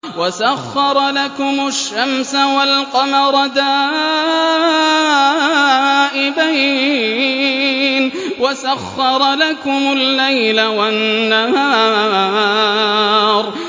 وَسَخَّرَ لَكُمُ الشَّمْسَ وَالْقَمَرَ دَائِبَيْنِ ۖ وَسَخَّرَ لَكُمُ اللَّيْلَ وَالنَّهَارَ